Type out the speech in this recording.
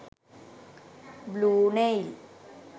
blue nail